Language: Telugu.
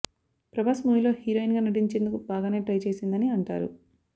ప్రభాస్ మూవీలో హీరోయిన్ గా నటించేందుకు బాగానే ట్రై చేసిందని అంటారు